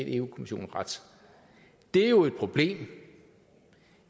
eu kommissionen ret det er jo et problem